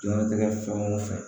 Diɲɛlatigɛ fɛn o fɛn